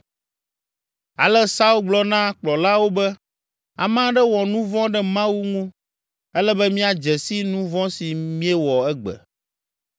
Ale Saul gblɔ na kplɔlawo be, “Ame aɖe wɔ nu vɔ̃ ɖe Mawu ŋu, ele be míadze si nu vɔ̃ si míewɔ egbe.